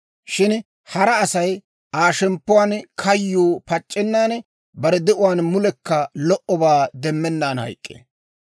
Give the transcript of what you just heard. Shin hara Asay Aa shemppuwaan kayyuu pac'c'ennan, bare de'uwaan mulekka lo"obaa demmennaan hayk'k'ee.